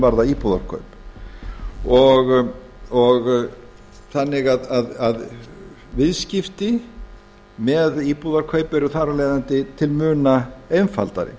varða íbúðarkaup og þannig að viðskipti með íbúðarkaup eru þar af leiðandi til muna einfaldari